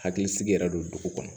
Hakili sigi yɛrɛ don dugu kɔnɔ